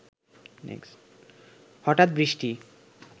হঠাৎ বৃষ্টি